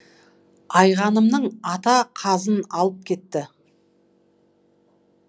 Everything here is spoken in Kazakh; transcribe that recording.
айғанымның ата қазын алып кетті